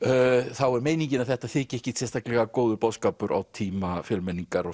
þá er meiningin að þetta þyki ekkert sérstaklega góður boðskapur á tíma fjölmenningar og